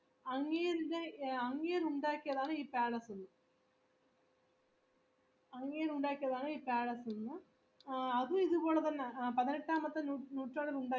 ആ അത് ഇത്പോലെ തന്ന ആ പതിനെട്ടാമത്തെ നൂറ്റാണ്ടിൽ ഉണ്ടാക്കിയതാണ് മ്മ് അതെ പതിനെട്ടാമത്തെ നൂറ്റാണ്ടിൽ ഉണ്ടാക്കിയതാണ് ഇതിന് ഒരുപാട് ഈ doll room ന്ന് പറയുന്ന സാധനങ്ങൾ ന്ന് വച്ചാ